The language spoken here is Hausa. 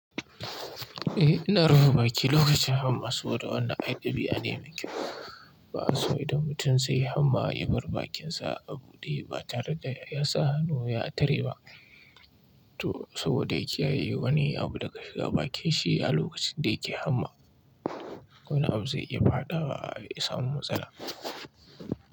Eh, ina rufe baki lokacin hamma saboda wannan ai ɗabi'a ne me kyau. Ba aso idan mutum zaiyi hamma ya bar bakinsa abuɗe ba tare da ya sa hannu ya tare ba to saboda yaki ya ye wani abu daga shiga bakin shi a lokacin da yake hamma. Wani abu zai iya faɗawa ya samu matsala.